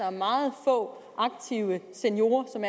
om meget få seniorer som